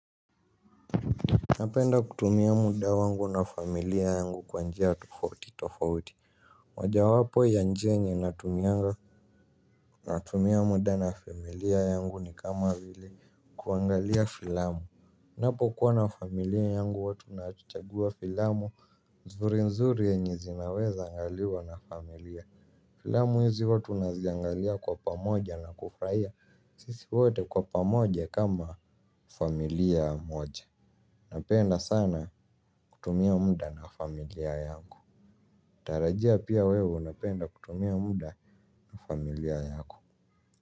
Napenda kutumia muda wangu na familia yangu kwanjia tofauti tofauti. Moja wapo ya njia yenye natumianga natumia muda na familia yangu ni kama vile kuangalia filamu. Ninapo kuwa na familia yangu watu natuchagua filamu zuri nzuri yenye zinaweza angaliwa na familia. Filamu hizi huwa tunaziangalia kwa pamoja na kufurahia sisi wote kwa pamoja kama familia moja. Napenda sana kutumia muda na familia yangu natarajia pia wewe unapenda kutumia muda na familia yako.